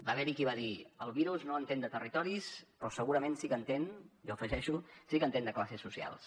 va haver hi qui va dir el virus no entén de territoris però segurament sí que hi entén jo afegeixo sí que entén de classes socials